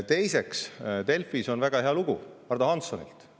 Teiseks, Delfis on väga hea lugu Ardo Hanssonilt.